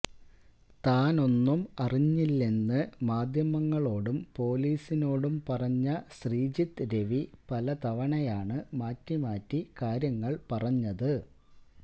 താനൊന്നും അറിഞ്ഞില്ലെന്ന് മാദ്ധ്യമങ്ങളോടും പൊലീസിനോടും പറഞ്ഞ ശ്രീജിത്ത് രവി പലതവണയാണ് മാറ്റിമാറ്റി കാര്യങ്ങൾ പറഞ്ഞത്